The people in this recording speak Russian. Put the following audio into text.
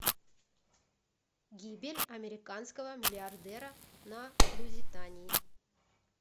гибель американского миллиардера на лузитании